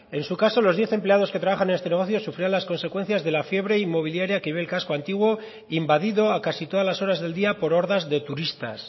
en su caso los diez empleados que trabajan en este negocio sufrirán las consecuencias de la fiebre inmobiliaria que vive el casco antiguo invadido a casi todas las horas del día por hordas de turistas